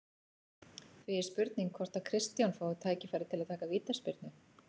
Því er spurning hvort að Kristján fái tækifæri til að taka vítaspyrnu?